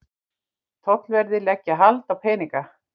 Tollverðir leggja hald á peninga